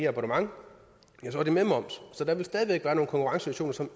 abonnement ja så er det med moms så der vil stadig væk være nogle konkurrencesituationer